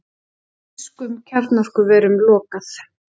Þýskum kjarnorkuverum lokað